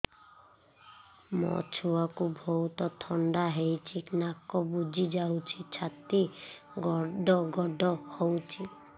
ମୋ ଛୁଆକୁ ବହୁତ ଥଣ୍ଡା ହେଇଚି ନାକ ବୁଜି ଯାଉଛି ଛାତି ଘଡ ଘଡ ହଉଚି